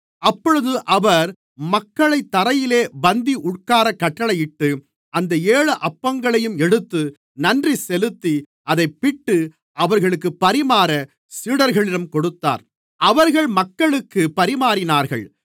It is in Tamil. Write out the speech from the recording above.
அப்பொழுது அவர் மக்களைத் தரையிலே பந்தி உட்காரக் கட்டளையிட்டு அந்த ஏழு அப்பங்களையும் எடுத்து நன்றி செலுத்தி அதைப் பிட்டு அவர்களுக்குப் பரிமாற சீடர்களிடம் கொடுத்தார் அவர்கள் மக்களுக்குப் பரிமாறினார்கள்